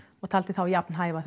ég taldi þá jafn hæfa